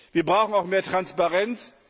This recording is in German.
Wir brauchen auch mehr Transparenz.